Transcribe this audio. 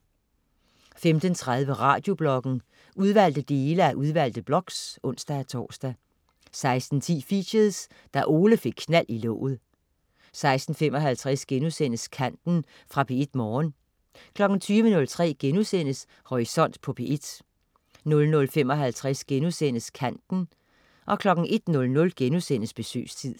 15.30 Radiobloggen. Udvalgte dele af udvalgte blogs (ons-tors) 16.10 Features: Da Ole fik knald i låget 16.55 Kanten.* Fra P1 Morgen 20.03 Horisont på P1* 00.55 Kanten* 01.00 Besøgstid*